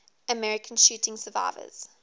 american shooting survivors